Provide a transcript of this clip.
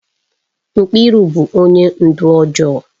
Mkiru bu onye ndu ojoo